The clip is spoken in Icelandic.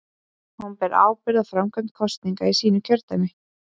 Hún ber ábyrgð á framkvæmd kosninga í sínu kjördæmi.